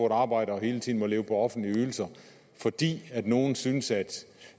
et arbejde og hele tiden må leve på offentlige ydelser fordi nogle synes